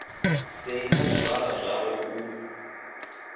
sei na zwizwala zwawe u